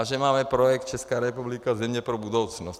A že máme projekt Česká republika, země pro budoucnost.